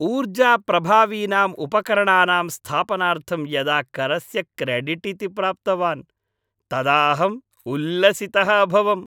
ऊर्जाप्रभावीनाम् उपकरणानां स्थापनार्थं यदा करस्य क्रेडिट् इति प्राप्तवान् तदा अहम् उल्लसितः अभवम्।